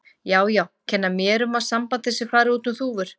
Já, já, kenna mér um að sambandið sé að fara út um þúfur.